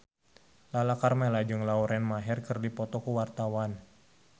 Lala Karmela jeung Lauren Maher keur dipoto ku wartawan